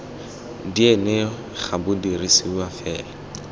dna ga bo dirisiwe fela